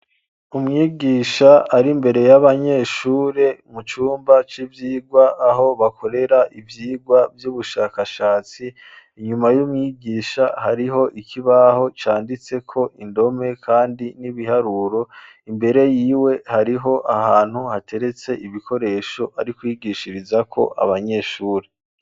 Umwigisha ari imbere y'abanyeshure mu cumba c'ivyigwa aho bakorera ivyigwa vy'ubushakashatsi inyuma y'umwigisha hariho ikibaho canditseko indome kandi n'ibiharuro imbere yiwe hariho ahantu hateretse ibikoresho ari kwigishirizako abanyeshure.